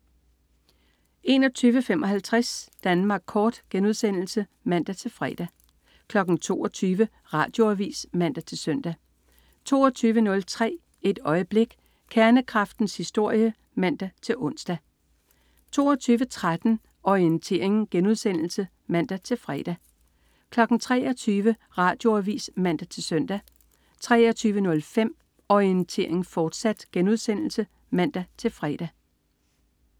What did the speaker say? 21.55 Danmark Kort* (man-fre) 22.00 Radioavis (man-søn) 22.03 Et øjeblik. Kernekraftens historie (man-ons) 22.13 Orientering* (man-fre) 23.00 Radioavis (man-søn) 23.05 Orientering, fortsat* (man-fre)